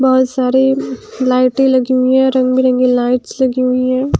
बहुत सारे लाइटें लगी हुई है रंग बिरंगी लाइट्स लगी हुई है ।